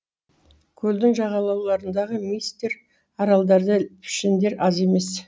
көлдің жағалауларындағы миістер аралдарда пішендер аз емес